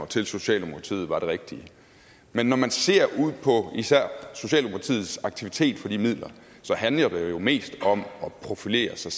til socialdemokratiet var det rigtige men når man ser ud på især socialdemokratiets aktiviteter for de midler handler det jo mest om at profilere sig